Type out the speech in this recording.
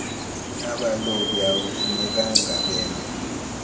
abalobi akufunekanga beme